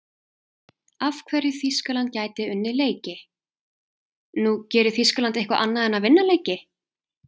Af hverju Þýskaland gæti unnið leiki: Nú, gerir Þýskaland eitthvað annað en að vinna leiki?